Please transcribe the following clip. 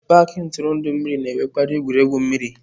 paaki ntụrụndụ mmiri na-enwekarị egwuregwu mmiri.